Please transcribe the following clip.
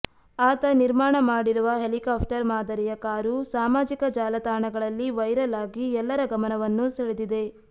ಆತ ನಿರ್ಮಾಣ ಮಾಡಿರುವ ಹೆಲಿಕಾಪ್ಟರ್ ಮಾದರಿಯ ಕಾರು ಸಾಮಾಜಿಕ ಜಾಲ ತಾಣಗಳಲ್ಲಿ ವೈರಲ್ ಆಗಿ ಎಲ್ಲರ ಗಮನವನ್ನು ಸೆಳೆದಿದೆ